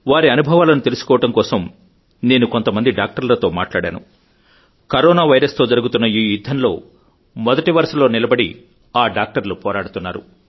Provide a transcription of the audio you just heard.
వారి అనుభవాలను తెలుసుకోవడం కోసం నేను కొంత మంది డాక్టర్లతో మాట్లాడాను కరోనా వైరస్ తో జరుగుతున్న ఈ యుద్ధంలో మొదటి వరుసలో నిలబడి ఆ డాక్టర్లు పోరాడుతున్నారు